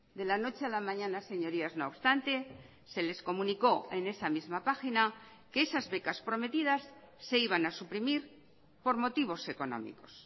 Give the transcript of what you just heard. de la noche a la mañana señorías no obstante se les comunicó en esa misma página que esas becas prometidas se iban a suprimir por motivos económicos